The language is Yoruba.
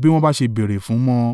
bí wọ́n bá ṣe béèrè fún mọ.